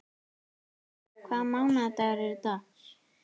Valsteinn, hvaða mánaðardagur er í dag?